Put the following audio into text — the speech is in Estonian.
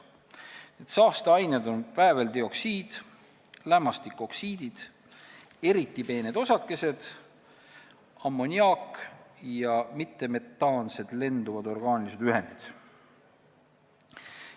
Need saasteained on vääveldioksiid, lämmastikoksiidid, eriti peened osakesed, ammoniaak ja mittemetaansed lenduvad orgaanilised ühendid.